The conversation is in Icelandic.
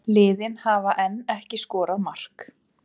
Liðin hafa enn ekki skorað mark